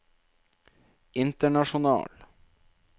international